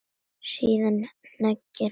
Síðan hneigir hann sig djúpt.